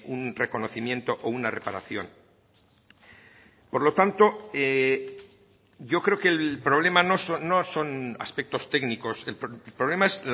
un reconocimiento o una reparación por lo tanto yo creo que el problema no son aspectos técnicos el problema es